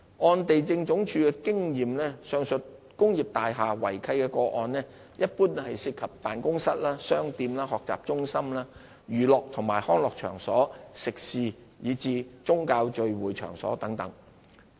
按地政總署經驗，上述工業大廈違契個案一般涉及辦公室、商店、學習中心、娛樂及康樂場所、食肆及宗教聚會場所等。